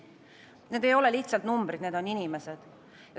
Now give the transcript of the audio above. Need ei ole lihtsalt numbrid, need on inimesed.